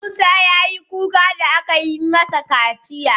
Musa ya yi kuka da aka yi masa kaciya.